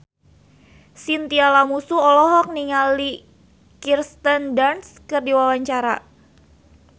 Chintya Lamusu olohok ningali Kirsten Dunst keur diwawancara